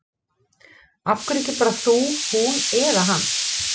Af hverju ekki bara þú, hún eða hann?